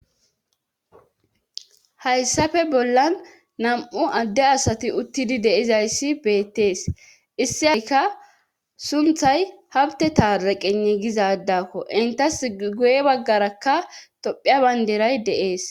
Hayssafe bollan nam'u adde asati uttidi deizayssi beettees issi aikka sunthay habte taaraqene gizadakko intas guye baggarakka tophiya baynderay deees.